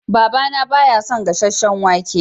Baba na ba ya son gasasen wake.